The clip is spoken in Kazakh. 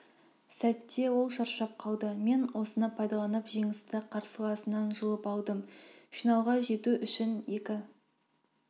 сәтте ол шаршап қалды мен осыны пайдаланып жеңісті қарсыласымнан жұлып алдым финалға жету үшін екі